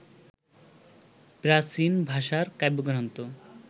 প্রাচীন ভাষার কাব্যগ্রন্থ